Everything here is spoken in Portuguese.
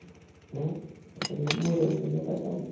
Né uma família morando dentro do apartamento.